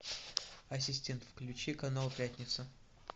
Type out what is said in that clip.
ассистент включи канал пятница